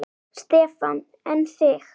Stefán: En þig?